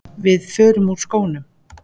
Við förum úr skónum.